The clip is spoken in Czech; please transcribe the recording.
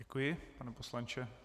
Děkuji, pane poslanče.